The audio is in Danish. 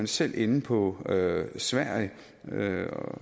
selv inde på sverige